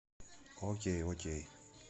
окей окей